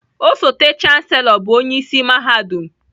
Osote Chansellọ bụ onye isi mahadum